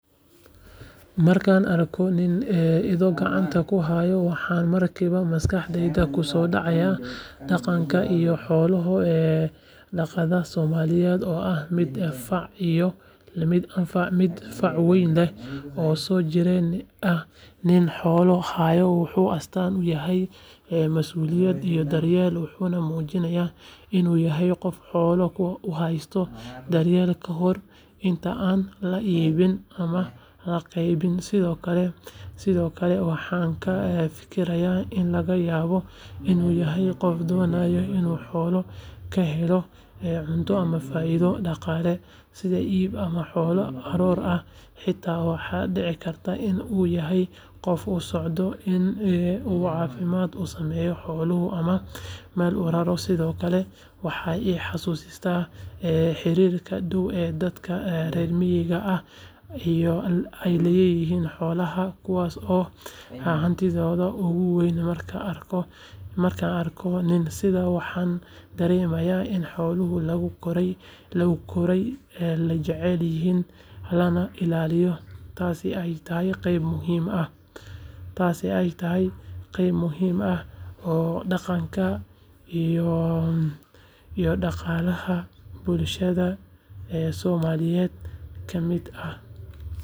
Markaan arko nin ido gacanta ku haya waxaa markiiba maskaxdayda ku soo dhacaya dhaqanka iyo xoolo-dhaqatada Soomaaliyeed oo ah mid fac weyn leh oo soo jireen ah nin xoolo haya wuxuu astaan u yahay masuuliyad iyo daryeel wuxuuna muujinayaa in uu yahay qof xoolaha u haysta daryeel ka hor inta aan la iibin ama la qalayn sidoo kale waxaan ka fekerayaa in laga yaabo in uu yahay qof doonaya in uu xoolaha ka helo cunto ama faa’iido dhaqaale sida iibin ama xoolo aroor ah xitaa waxaa dhici karta in uu yahay qof u socda in uu caafimaad u sameeyo xoolaha ama meel u raro sidoo kale waxay i xasuusisaa xiriirka dhow ee dadka reer miyiga ah ay la leeyihiin xoolaha kuwaas oo ah hantidooda ugu weyn markaan arko nin sidan waxaan dareemaa in xoolaha lagu koray la jecel yahay lana ilaaliyo taasina ay tahay qayb muhiim ah oo dhaqanka iyo dhaqaalaha bulshada Soomaaliyeed ka mid ah.